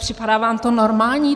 Připadá vám to normální?